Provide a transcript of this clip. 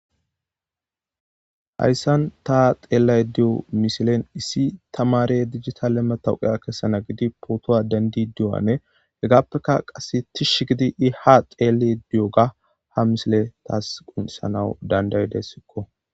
Hayssan ta xeellay diyo misilen issi tamare digitale matawuqeya kessana gidi pootowa dandi diwane hegaappeka qasse tish gidi i ha xeele diyoga ha misile taas gunsanawu dandaydessikko.